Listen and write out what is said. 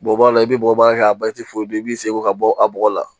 Bɔbɔla i bɛ bɔ a i b'i seko ka bɔ a bɔgɔ la